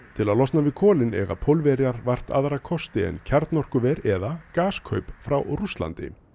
til að losna við kolin eiga Pólverjar vart aðra kosti en kjarnorkuver eða frá Rússlandi